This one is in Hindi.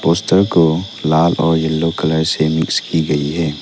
पोस्टर को लाल और येलो कलर से मिक्स की गई है।